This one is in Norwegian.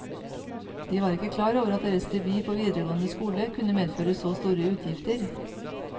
De var ikke klar over at deres debut på videregående skole kunne medføre så store utgifter.